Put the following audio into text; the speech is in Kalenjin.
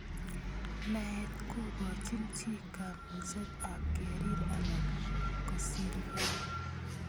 Naet kokochin chi kamukset ap kerir anan kosirkei